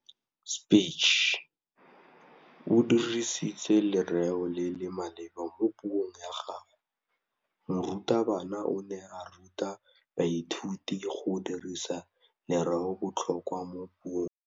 O dirisitse lerêo le le maleba mo puông ya gagwe. Morutabana o ne a ruta baithuti go dirisa lêrêôbotlhôkwa mo puong.